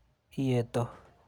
Iyeto.